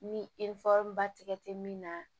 Ni ba tigɛ tɛ min na